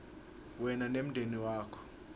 wena nemndeni wakho